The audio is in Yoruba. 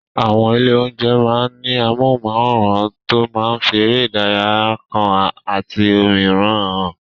Àwọn ilé-oúnjẹ máa ń ní amóhùnmáwòràn tó máa ń fi eré ìdárayá kan àti òmíràn hàn.